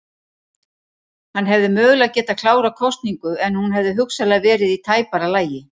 Hann hefði mögulega getað klárað kosningu en hún hefði hugsanlega verið í tæpara lagi.